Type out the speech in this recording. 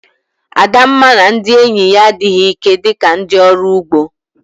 Adamma na ndị enyi ya adịghị ike dị ka ndị ọrụ ugbo